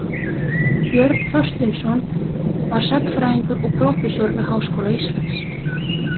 Björn Þorsteinsson var sagnfræðingur og prófessor við Háskóla Íslands.